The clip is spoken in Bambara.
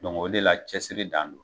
o de la cɛsiri dan don